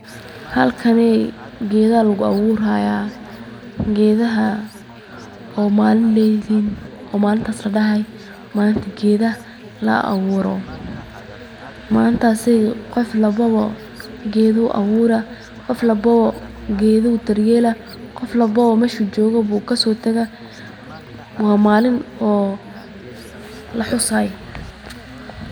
Halkani geeda ayaa lagu abuuri haaya, malintaas ladahaay malinta geedaha, qof walbo geeda ayuu abuura, geeda ayuu dar yeela, waa maalin laxusaayo.